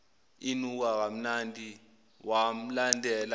inuka kamnandi wamlandela